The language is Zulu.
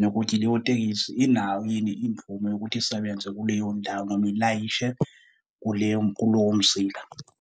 nokuthi leyo tekisi inayo yini imvume yokuthi isebenze kuleyondawo noma ilayishe kuleyo kulowo mzila.